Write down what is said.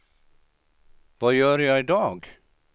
vad gör jag idag